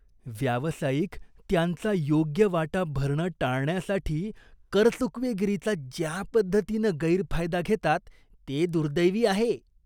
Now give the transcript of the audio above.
व्यावसायिक त्यांचा योग्य वाटा भरणं टाळण्यासाठी करचुकवेगिरीचा ज्या पद्धतीनं गैरफायदा घेतात ते दुर्दैवी आहे.